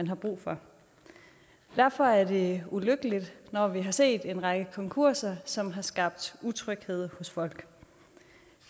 har brug for derfor er det ulykkeligt når vi har set en række konkurser som har skabt utryghed hos folk